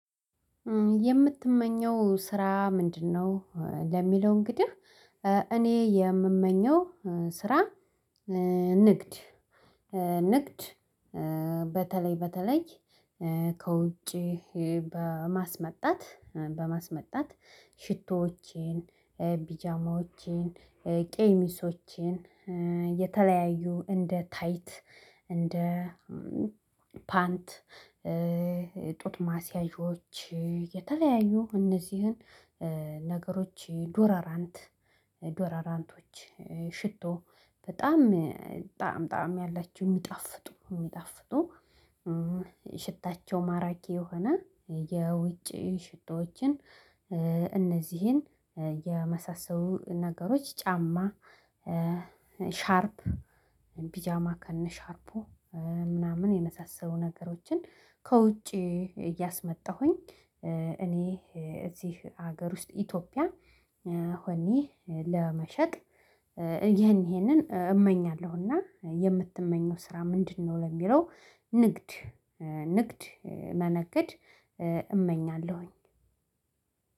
የምትመኘው ስራ ምንድነው? ለሚለው እንግዲህ እኔ የምመኘው ስራ ንግድ ንግድ በተለይ በተለይ ከውጪ በማስመጣት በማስመጣት ሽቶዎቼን፣ ቢጃማዎቼን፣ ቄሚሶቼን የተለያዩ እንደ ታይት እንደ ፓንት ጡት ማሲያጆች የተለያዩ እነዚህን ነገሮች ዶራራንት ዶራራንቶች ሽቶ በጣም ጣዕም ጣዕም ያላችሁ የሚጣፍጡ የሚጣፍጡ ሽታቸው ማራኪ የሆነ የውጭ ሽቶዎችን እነዚህን የመሳሰሉ ነገሮች ጫማ ሻርፕ ፒጃማ ከነ ሻርፑ ምናምን የመሳሰሉ ነገሮችን ከውጪ እያስመጣሁኝ፣ እኔ እዚህ ሀገር ውስጥ ኢትዮጵያ ሆኔ ለመሸጥ ይሄን ይሄንን እመኛለሁ እና የምትመኘው ስራ ምንድን ነው ለሚለው ንግድ ንግድ መነገድ እመኛለሁኝ